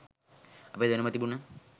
අපේ දැනුම තිබුන